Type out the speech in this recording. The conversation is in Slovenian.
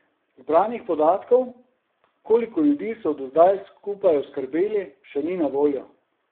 Zbranih podatkov, koliko ljudi so do zdaj skupaj oskrbeli, še ni na voljo.